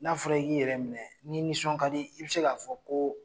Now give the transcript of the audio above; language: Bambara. N'a fɔra i k'i yɛrɛ minɛ ni nisɔn ka di i be se k'a fɔ ko